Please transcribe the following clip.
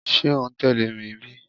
Ṣe o n tẹle mi bi?